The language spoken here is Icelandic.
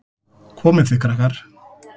Komið þið, krakkar!